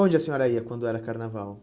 a senhora ia quando era carnaval?